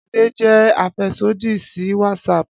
Ade jẹ afẹsodi si Whatsapp.